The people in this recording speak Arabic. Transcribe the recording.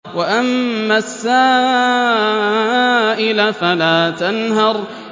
وَأَمَّا السَّائِلَ فَلَا تَنْهَرْ